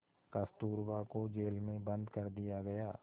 कस्तूरबा को जेल में बंद कर दिया गया